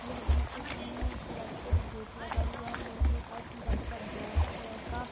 यह घर के सामने एक कलरफुल गेट लगा हुआ है लोहे का इसमें ज्यादा का ब्लैक कलर का --